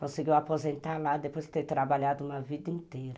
Conseguiu aposentar lá depois de ter trabalhado uma vida inteira.